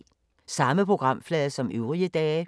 Samme programflade som øvrige dage